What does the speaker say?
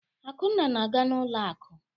Akunna na-aga n'ụlọ akụ.